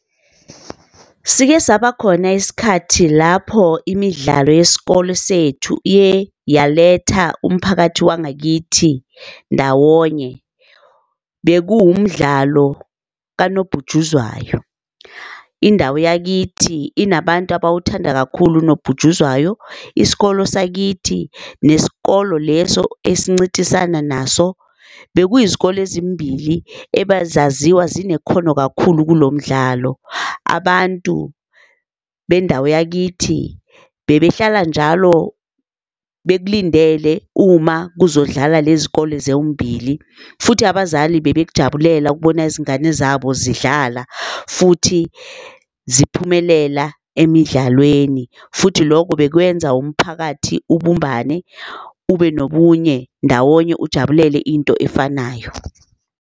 Sike saba khona isikhathi lapho imidlalo yesikole sethu iye yaletha umphakathi wangakithi ndawonye. Bekuwumdlalo kanobhutshuzwayo. Indawo yakithi inabantu abawuthanda kakhulu unobhutshuzwayo. Isikolo sakithi neskolo leso esincintisana naso, bekuyizikole ezimbili ebazaziwa zinekhono kakhulu kulo mdlalo. Abantu bendawo yakithi bebehlala njalo bekulindele uma kuzodlala le zikole zombili, futhi abazali bebekujabulela ukubona izingane zabo zidlala futhi ziphumelela emidlalweni futhi loko bekwenza umphakathi ubumbane ube nobunye ndawonye ujabulele into efanayo.